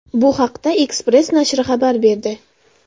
Bu haqda Express nashri xabar berdi.